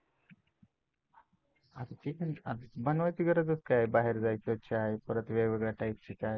बनवायची गरजच काय, बाहेर जायचं परत वेगवेगळ्या टाईपचे चहा